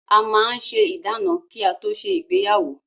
A máa ń ṣe ìdána kí á tó ṣe ìgbéyàwó.